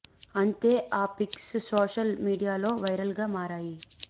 అంతే ఆ pics social media లో వైరల్ గా మారాయి